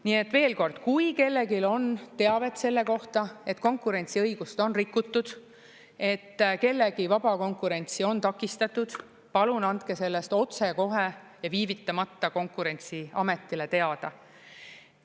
Nii et veel kord, kui kellelgi on teavet selle kohta, et konkurentsiõigust on rikutud, et kellegi vaba konkurentsi on takistatud, palun andke sellest otsekohe ja viivitamata Konkurentsiametile teada.